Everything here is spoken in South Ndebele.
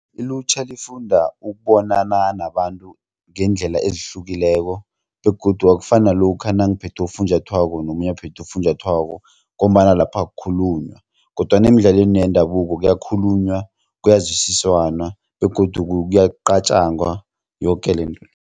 Ilutjha lifunda ukubonana nabantu ngeendlela ezihlukileko begodu akufani nalokha nangiphethe ufunjathwako nomunye aphethe ufunjathwako ngombana lapha akukhulunywa kodwana emidlalweni yendabuko kuyakhulunywa kuyazwisisanwa begodu kuyaqatjangwa yoke lento le.